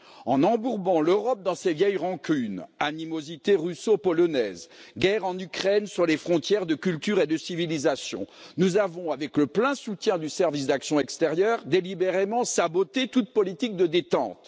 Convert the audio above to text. En embourbant l'Europe dans ses vieilles rancunes animosité russo polonaise, guerre en Ukraine sur les frontières de culture et de civilisation nous avons, avec le plein soutien du Service d'action extérieure, délibérément saboté toute politique de détente.